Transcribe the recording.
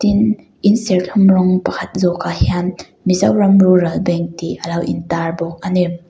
in in serthlum rawng pakhat zawk ah hian mizoram rural bank tih alo in tar bawk ani.